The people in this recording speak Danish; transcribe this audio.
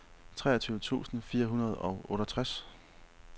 treogtyve tusind fire hundrede og otteogtres